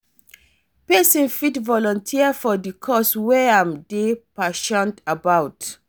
Pesin fit volunteer for di cause wey im dey passionate about.